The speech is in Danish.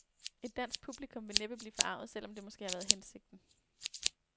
Et dansk publikum vil næppe blive forarget, selv om det måske har været hensigten.